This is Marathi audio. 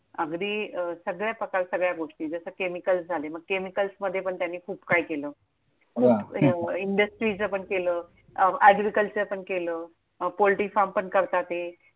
अगदी अं सगळ्या प्रकारच्या सगळ्या गोष्टी. जसं chemicals झाले. मग chemicals मध्ये पण त्यांनी खूप काही केलं. वा! इंडस्ट्रीचं पण केलं, agriculture पण केलं, poultry farm करताते.